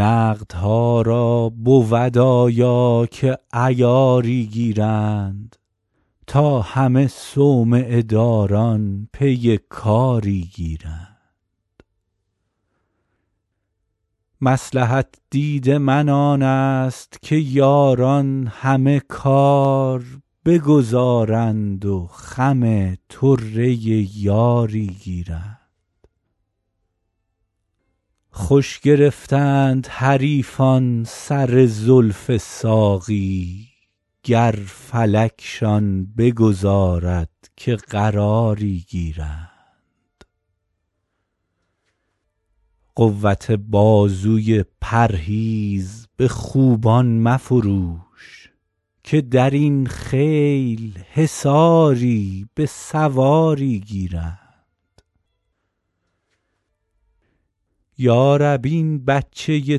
نقدها را بود آیا که عیاری گیرند تا همه صومعه داران پی کاری گیرند مصلحت دید من آن است که یاران همه کار بگذارند و خم طره یاری گیرند خوش گرفتند حریفان سر زلف ساقی گر فلکشان بگذارد که قراری گیرند قوت بازوی پرهیز به خوبان مفروش که در این خیل حصاری به سواری گیرند یا رب این بچه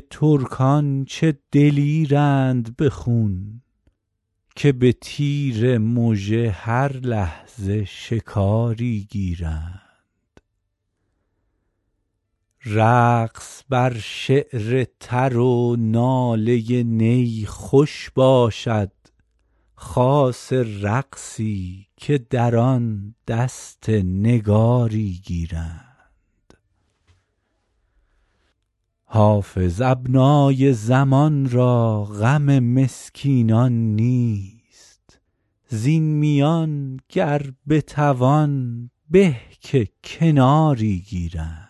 ترکان چه دلیرند به خون که به تیر مژه هر لحظه شکاری گیرند رقص بر شعر تر و ناله نی خوش باشد خاصه رقصی که در آن دست نگاری گیرند حافظ ابنای زمان را غم مسکینان نیست زین میان گر بتوان به که کناری گیرند